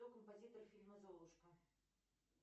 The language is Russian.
кто композитор фильма золушка